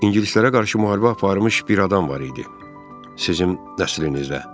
İngilislərə qarşı müharibə aparmış bir adam var idi sizin nəslinizdə.